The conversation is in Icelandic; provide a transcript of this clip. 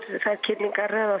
þær kynningar eða